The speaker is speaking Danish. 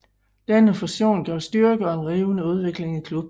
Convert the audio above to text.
Denne fusion gav styrke og en rivende udvikling i klubben